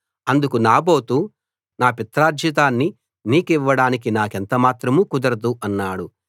అందుకు నాబోతు నా పిత్రార్జితాన్ని నీకివ్వడానికి నాకెంత మాత్రం కుదరదు అన్నాడు